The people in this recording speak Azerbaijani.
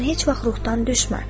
Sən heç vaxt ruhdan düşmə.